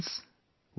Friends,